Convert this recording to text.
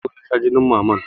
Sauro ya sha junin mamman.